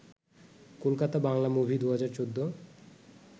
Kolkata Bangla movie ২০১৪